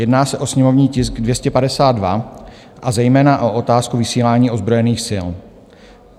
Jedná se o sněmovní tisk 252, a zejména o otázku vysílání ozbrojených sil.